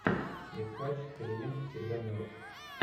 искать клиент всегда мертв